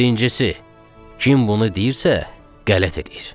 Birincisi, kim bunu deyirsə, qələt eləyir.